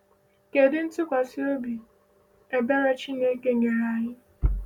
Kedu ntụkwasị obi ebere Chineke nyere anyị?